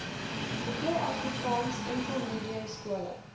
hoeveel afrikaansenkelmediumskole